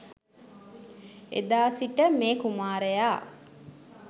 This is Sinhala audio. එදා සිට මේ කුමාරයා